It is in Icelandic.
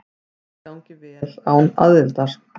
Allt gangi vel án aðildar.